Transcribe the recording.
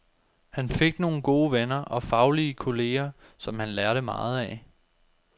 Han fik nogle gode venner og faglige kolleger, som han lærte meget af.